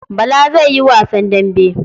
Bala zai yi wasan dambe.